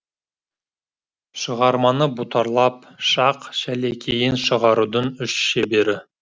шығарманы бұтарлап шақ шәлекейін шығарудың үш шебері